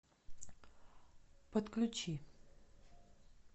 подключи